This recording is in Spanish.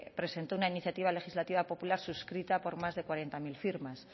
presentó una iniciativa legislativa popular suscrita por más de cuarenta mil firmas